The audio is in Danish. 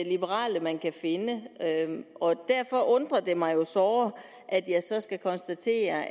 liberale man kan finde og derfor undrer det mig jo såre at jeg så skal konstatere